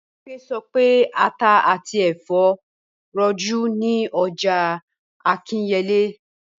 Bímpé sọ pé ata àti ẹ̀fọ́ rọjú ní ọjà Akínyẹlé